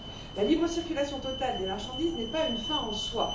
La libre circulation totale des marchandises n'est pas une fin en soi.